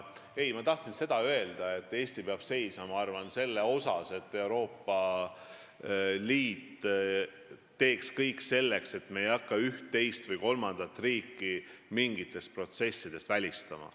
Ei, ma tahtsin seda öelda, et minu arvates peab Eesti seisma selle eest, et Euroopa Liit teeks kõik selleks, et me ei hakkaks üht, teist või kolmandat riiki mingites protsessides välistama.